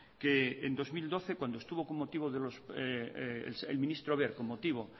que en dos mil doce cuando estuvo el ministro wert con motivo